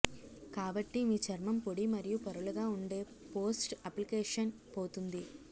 కాబట్టి మీ చర్మం పొడి మరియు పొరలుగా ఉండే పోస్ట్ అప్లికేషన్ పోతుంది